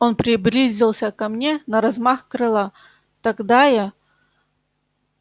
он приблизился ко мне на размах крыла тогда я